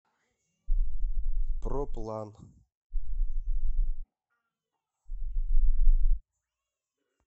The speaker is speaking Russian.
проплан